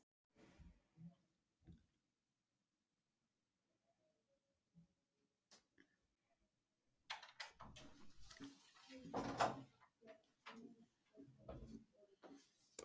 Þess vegna varð geimfarið að ferðast fjórum sinnum umhverfis sólina á leið sinni til halastjörnunnar.